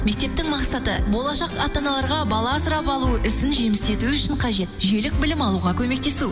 мектептің мақсаты болашақ ата аналарға бала асырап алу ісін жемісті етуі үшін қажет жүйелік білім алуға көмектесу